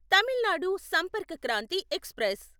Tamil Nadu Sampark Kranti express